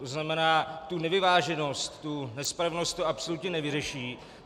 To znamená, tu nevyváženost, tu nespravedlnost to absolutně nevyřeší.